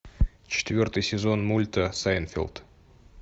четвертый сезон мульта сайнтфелд